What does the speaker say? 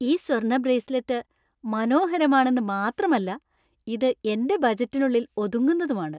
ഈ സ്വർണ്ണ ബ്രേസ്ലെറ്റ് മനോഹരരമാണെന്ന് മാത്രമല്ല, ഇത് എന്‍റെ ബജറ്റിനുള്ളിൽ ഒതുങ്ങുന്നതുമാണ് .